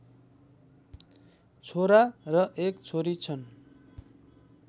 छोरा र एक छोरी छन्